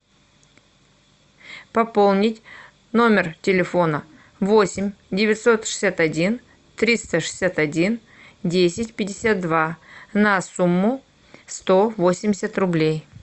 пополнить номер телефона восемь девятьсот шестьдесят один триста шестьдесят один десять пятьдесят два на сумму сто восемьдесят рублей